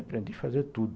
Aprendi a fazer tudo.